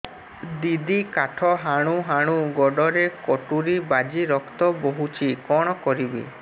ଦିଦି କାଠ ହାଣୁ ହାଣୁ ଗୋଡରେ କଟୁରୀ ବାଜି ରକ୍ତ ବୋହୁଛି କଣ କରିବି